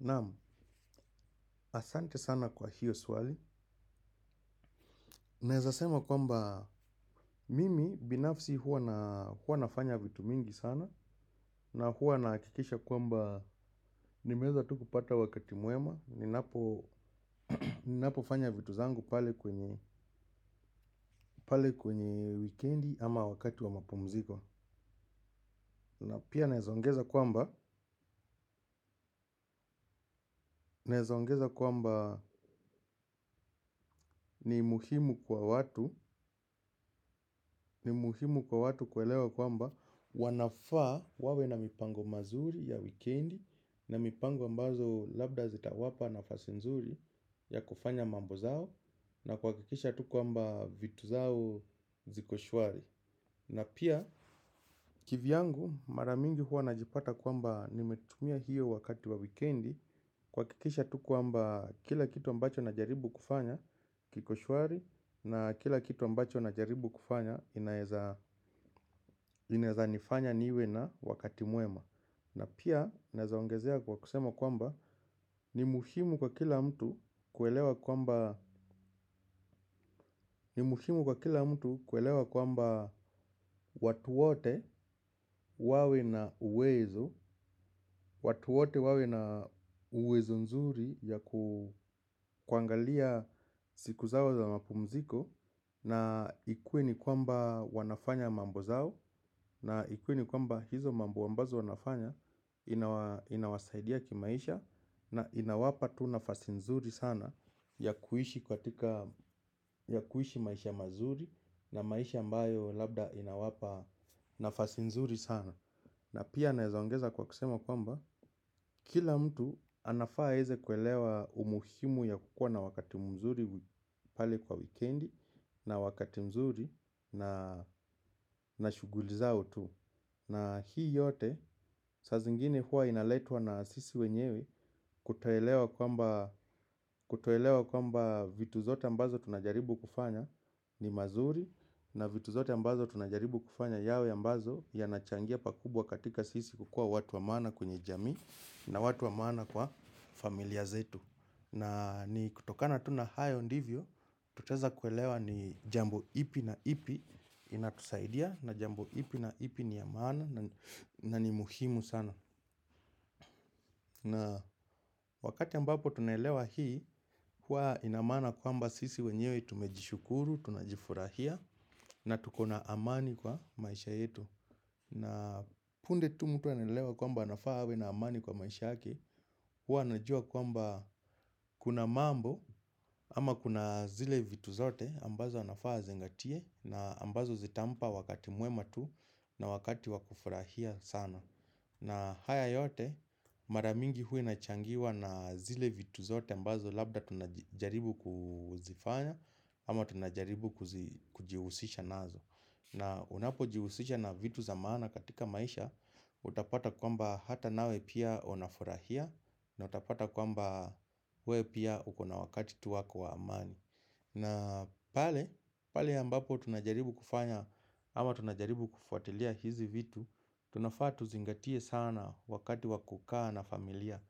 Naam, asante sana kwa hiyo swali. Naezasema kwamba, mimi binafsi hua nafanya vitu mingi sana. Na hua nahakikisha kwamba, nimeweza tu kupata wakati mwema ninapofanya vitu zangu pale kwenye pale kwenye wikendi ama wakati wa mapumziko. Na pia naezaongeza kwamba, naezaongeza kwamba ni muhimu kwa watu. Ni muhimu kwa watu kuelewa kwamba wanafaa wawe na mipango mazuri ya wikendi. Na mipango ambazo labda zitawapa nafasi nzuri ya kufanya mambo zao na kuhakikisha tu kwamba vitu zao ziko shwari. Na pia kivyangu mara mingi huwa najipata kwamba nimetumia hiyo wakati wa wikendi kuhakikisha tu kwamba kila kitu ambacho najaribu kufanya kiko shwari. Na kila kitu ambacho najaribu kufanya inaezanifanya niwe na wakati mwema. Na pia naezaongezea kwa kusema kwamba ni muhimu kwa kila mtu kuelewa kwamba watu wote wawe na uwezo. Watu wote wawe na uwezo nzuri ya kuangalia siku zao za mapumziko na ikuwe ni kwamba wanafanya mambo zao. Na ikuwe ni kwamba hizo mambo ambazo wanafanya inawasaidia kimaisha na inawapa tu nafasi nzuri sana ya kuishi ya kuishi maisha mazuri na maisha ambayo labda inawapa nafasi nzuri sana na pia naezaongeza kwa kusema kwamba kila mtu anafaa aweze kuelewa umuhimu ya kukuwa na wakati mzuri pale kwa wikendi na wakati mzuri na na shughuli zao tu, na hii yote, saa zingine huwa inaletwa na sisi wenyewe kutoelewa kwamba kutoelewa kwamba vitu zote ambazo tunajaribu kufanya ni mazuri. Na vitu zote ambazo tunajaribu kufanya yawe ambazo yanachangia pakubwa katika sisi kukuwa watu wa maana kwenye jamii. Na watu wa maana kwa familia zetu. Na ni kutokana tu na hayo ndivyo tutaweza kuelewa ni jambo ipi na ipi inatusaidia na jambo ipi na ipi ni ya maana na ni muhimu sana. Na wakati ambapo tunaelewa hii, hua inamaana kwamba sisi wenyewe tumejishukuru, tunajifurahia na tuko na amani kwa maisha yetu. Na punde tu mtu anaelewa kwamba anafaa awe na amani kwa maisha yake, huwa anajua kwamba kuna mambo ama kuna zile vitu zote ambazo anafaa azingatie na ambazo zitampa wakati mwema tu na wakati wakufurahia sana. Na haya yote mara mingi huwa inachangiwa na zile vitu zote ambazo labda tunajaribu kuzifanya ama tunajaribu kujihusisha nazo. Na unapojihusisha na vitu za maana katika maisha utapata kwamba hata nawe pia unafurahia. Na utapata kwamba wewe pia ukona wakati tu wako wa amani. Na pale, pale ambapo tunajaribu kufanya, ama tunajaribu kufuatilia hizi vitu, tunafaa tuzingatie sana wakati wa kukaa na familia.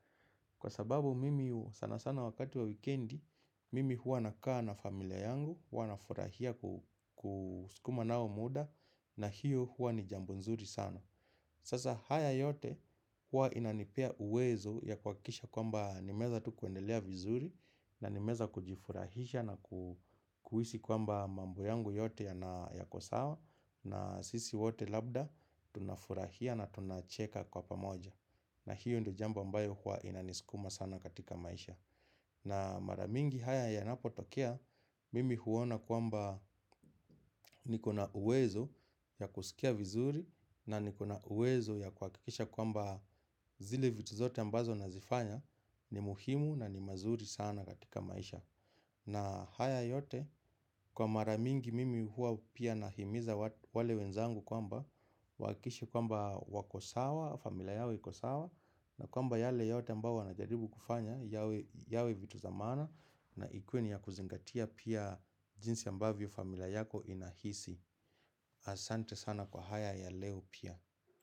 Kwa sababu mimi sana sana wakati wa wikendi, mimi huwa nakaa na familia yangu, huwa nafurahia kusukuma nao muda, na hiyo hua ni jambo nzuri sana. Sasa haya yote huwa inanipea uwezo ya kuhakikisha kwamba nimeweza tu kuendelea vizuri na nimeweza kujifurahisha na kuhisi kwamba mambo yangu yote yana yako sawa na sisi wote labda tunafurahia na tunacheka kwa pamoja. Na hiyo ndio jambo ambayo huwa inanisukuma sana katika maisha. Na mara mingi haya yanapotokea mimi huona kwamba niko na uwezo ya kusikia vizuri na nikona uwezo ya kuhakikisha kwamba zile vitu zote ambazo nazifanya ni muhimu na ni mazuri sana katika maisha. Na haya yote kwa mara mingi mimi huwa pia nahimiza wale wenzangu kwamba wahakikishe kwamba wako sawa, familia yao iko sawa. Na kwamba yale yote ambao wanajaribu kufanya yawe vitu za maana. Na ikuwe ni ya kuzingatia pia jinsi ambavyo familia yako inahisi. Asante sana kwa haya ya leo pia.